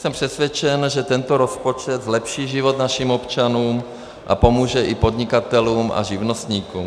Jsem přesvědčen, že tento rozpočet zlepší život našim občanům a pomůže i podnikatelům a živnostníkům.